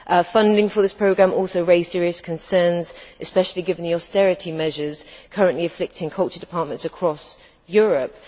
Funding for this programme also raised serious concerns, especially given the austerity measures currently afflicting culture departments across Europe.